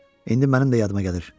İndi mənim də yadıma gəlir.